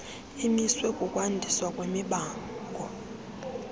emiswe kukwandiswa kwemibango